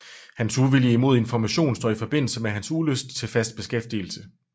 Hans uvilje imod information står i forbindelse med hans ulyst til fast beskæftigelse